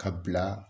Ka bila